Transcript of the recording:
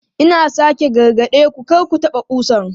Ina sake gargade ku, kar ku taɓa ƙusan!